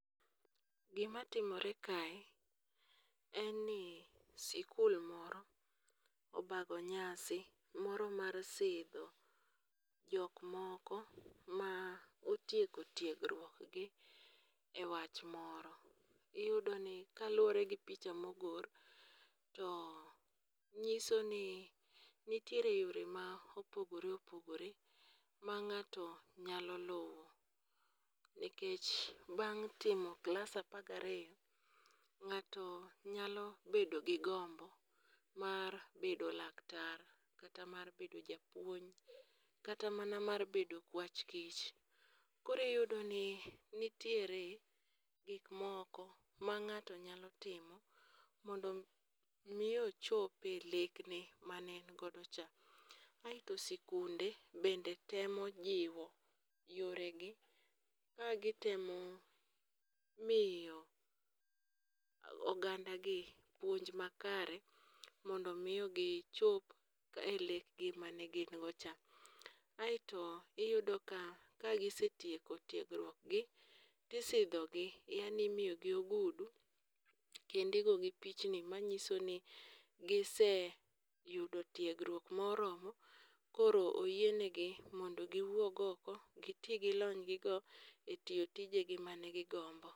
Gi matimore kae en ni skul moro obago nyasi moro mar sidho jok moko ma otieko tiegruok gi e wach moro. Iyudo ni kaluore gi picha ma ogol to ng'iso ni nitiere yore ma opogore opogore ma ng'ato nyalo luwo nekech bang' timo klas apar ga ariyoi ng'ato nyalo bedo gi gombo mar bedo laktar, kata mar bedo japuonj, kata mar bedo okwach kich. Koro iyudo ni nitiere gik moko ma ng'ato nyalo timo mondo mi ochop e lekne ma ne en go cha. Aito sikunde bende temo jiwo yore gi ka gi temo miyo oganda gi puonj ma kare mondo mi gi chop e lek gi mane gi go cha. Aito iyudo ka ka gisetieko tiegruok gi isidho gi yaani imiyo gi ogudu kendo igo gi picha ni ma ng'iso ni giseyudo tiegruok moromo koro oyien gi mondo gi wuog oko gi ti gi lony gi go e tiyo tije gi man gi gombo.